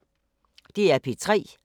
DR P3